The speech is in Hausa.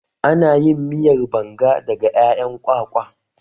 Ana yin miyar banga daga ƴaƴan kwakwa